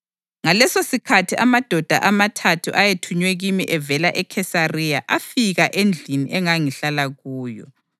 Ngalesosikhathi amadoda amathathu ayethunywe kimi evela eKhesariya afika endlini engangihlala kuyo.